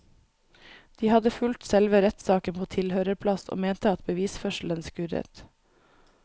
De hadde fulgt selve rettssaken på tilhørerplass og mente at bevisførselen skurret.